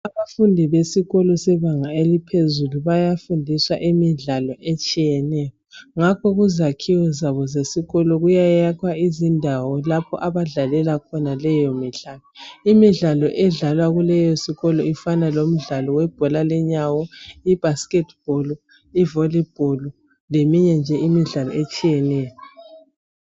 Abafundi besikolo sebanga eliphezulu bayafundiswa imidlalo etshiyeneyo ngakho kuzakhiwo zabo sesikolo kuyayakhwa izindawo lapho abadlalela khona leyo midlalo. Imidlalo edlalwa kuleyo sikolo ifana lemdlalo webhola lenyawo, ibasket ball, i volley ball leminye nje imidlalo etshiyeneyo.